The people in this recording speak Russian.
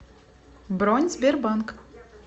бронь сбербанк